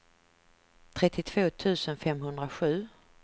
trettiotvå tusen femhundrasju